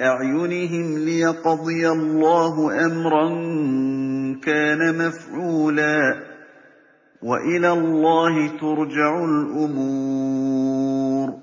أَعْيُنِهِمْ لِيَقْضِيَ اللَّهُ أَمْرًا كَانَ مَفْعُولًا ۗ وَإِلَى اللَّهِ تُرْجَعُ الْأُمُورُ